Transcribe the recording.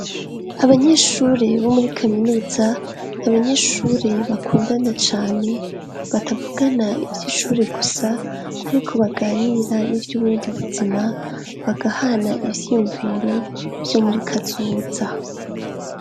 Abanyeshure bo muri kaminuza n'abanyeshure bakundana cane batavugana ivyishure gusa ariko baganira n'ivyubundi buzima bagahana ivyiyumviro vyo muri kazoza.